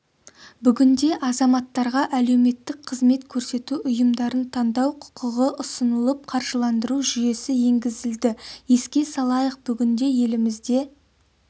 бүгінде азаматтарға әлеуметтік қызмет көрсету ұйымдарын таңдау құқығы ұсынылып қаржыландыру жүйесі енгізілді еске салайық бүгінде елімізде